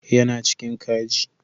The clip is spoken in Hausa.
Yana cikin kaji